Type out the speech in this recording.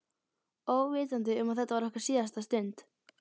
Óvitandi um að þetta var okkar síðasta stund.